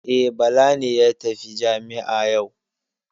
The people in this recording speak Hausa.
E, Bala ne ya tafi jami'a yau.